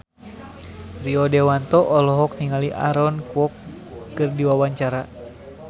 Rio Dewanto olohok ningali Aaron Kwok keur diwawancara